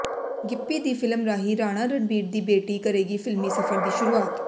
ਗਿੱਪੀ ਦੀ ਫਿਲਮ ਰਾਹੀ ਰਾਣਾ ਰਣਬੀਰ ਦੀ ਬੇਟੀ ਕਰੇਗੀ ਫਿਲਮੀ ਸਫਰ ਦੀ ਸ਼ੁਰੂਆਤ